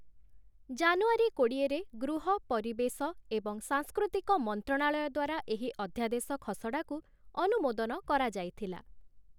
ଜାନୁଆରୀ କୋଡ଼ିଏରେ ଗୃହ, ପରିବେଶ ଏବଂ ସାଂସ୍କୃତିକ ମନ୍ତ୍ରଣାଳୟ ଦ୍ଵାରା ଏହି ଅଧ୍ୟାଦେଶ ଖସଡ଼ାକୁ ଅନୁମୋଦନ କରାଯାଇଥିଲା ।